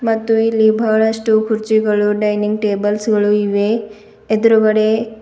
ಮತ್ತು ಇಲ್ಲಿ ಬಹಳಷ್ಟು ಕುರ್ಚಿಗಳು ಡೈನಿಂಗ್ ಟೇಬಲ್ಸ್ ಗಳು ಇವೆ ಎದ್ರುಗಡೆ--